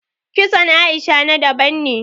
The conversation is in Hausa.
Kitson Aisha na daban ne